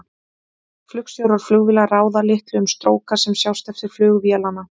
Flugstjórar flugvéla ráða litlu um stróka sem sjást eftir flug vélanna.